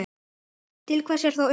Til hvers er þá unnið?